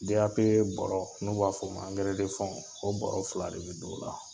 DAP bɔrɔ, n'u b'a f'o ma angɛrɛ , o bɔrɔ fila de be don o la.